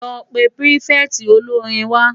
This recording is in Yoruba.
Lò pé pirifèti ólóri wá